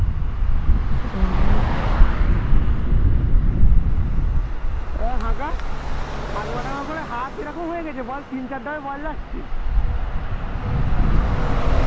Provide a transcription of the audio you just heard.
উহ এ হাত এরকম হয়ে গেছে বল ভয় লাগছে